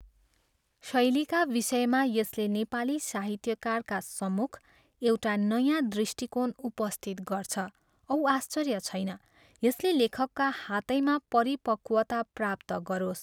शैलीका विषयमा यसले नेपाली साहित्यकारका सम्मुख एउटा नयाँ दृष्टिकोण उपस्थित गर्छ औ आश्चर्य छैन, यसले लेखकका हातैमा परिपक्वता प्राप्त गरोस्।